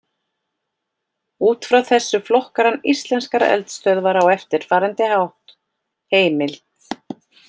Út frá þessu flokkar hann íslenskar eldstöðvar á eftirfarandi hátt: Heimild: